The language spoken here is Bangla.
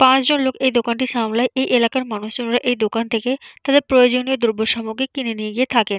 পাঁচজন লোক এই দোকানটি সামলায়। এই এলাকার মানুষজনেরা এই দোকান থেকে তাদের প্রয়োজনীয় দ্রব্য সামগ্রী কিনে নিয়ে গিয়ে থাকেন।